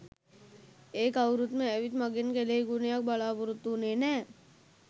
ඒ කවුරුවත්ම ඇවිත් මගෙන් කෙළෙහිගුණයක් බලාපොරොත්තු වුණේ නෑ